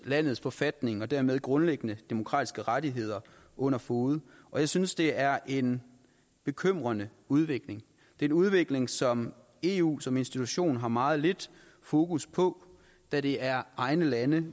landets forfatning og dermed grundlæggende demokratiske rettigheder under fode og jeg synes det er en bekymrende udvikling det en udvikling som eu som institution har meget lidt fokus på da det er egne lande